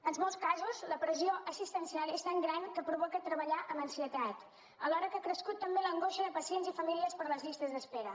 en molts casos la pressió assistencial és tan gran que provoca treballar amb ansietat alhora que ha crescut també l’angoixa de pacients i famílies per les llistes d’espera